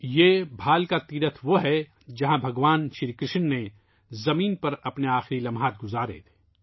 یہ بھالکا تیرتھ وہیں ہے ، جہاں بھگوان شری کرشن نے زمین پر اپنے آخری لمحات گزارے تھے